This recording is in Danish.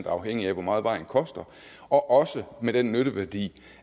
afhængig af hvor meget vejen koster og også med den nytteværdi